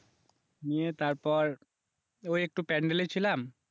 নিয়ে তারপর ওই একটু প্যান্ডেলেই ছিলাম